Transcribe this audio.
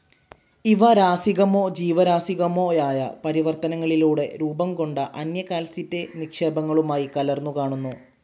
ഇവ രാസികമോ ജീവരാസികമോയായ പരിവർത്തനങ്ങളിലൂടെ രൂപംകൊണ്ട അന്യ കാൽസൈറ്റ്‌ നിക്ഷേപങ്ങളുമായി കലർന്നുകാണുന്നു.